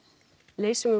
leysum við